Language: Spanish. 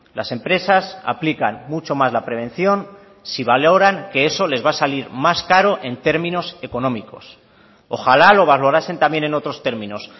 las empresas aplican mucho más la prevención si valoran que eso les va a salir más caro en términos económicos ojalá lo valorasen también en otros términos